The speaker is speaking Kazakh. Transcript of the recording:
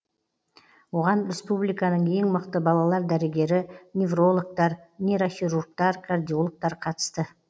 оған республиканың ең мықты балалар дәрігері неврологтар нейрохирургтар кардиологтар қатысты